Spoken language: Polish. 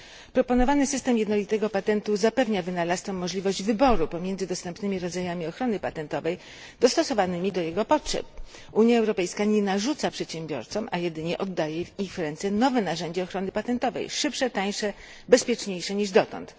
Proponowany system jednolitego patentu zapewnia wynalazcom możliwość wyboru pomiędzy dostępnymi rodzajami ochrony patentowej dostosowanymi do ich potrzeb. Unia Europejska nie narzuca przedsiębiorcom, a jedynie oddaje w ich ręce nowe narzędzia ochrony patentowej szybsze, tańsze, bezpieczniejsze niż dotąd.